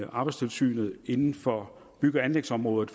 og arbejdstilsynet inden for bygge og anlægsområdet